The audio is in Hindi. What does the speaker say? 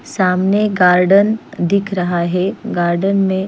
सामने गार्डन दिख रहा है गार्डन में --